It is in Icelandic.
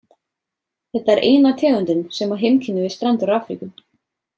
Þetta er eina tegundin sem á heimkynni við strendur Afríku.